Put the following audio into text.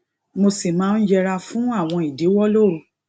mo sì máa ń yẹra fún àwọn ìdíwọ lóru